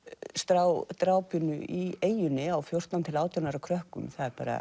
drápinu í eyjunni á fjórtán til átján ára krökkum